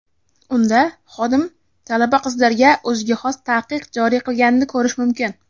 Unda xodim talaba qizlarga o‘ziga xos taqiq joriy qilganini ko‘rish mumkin.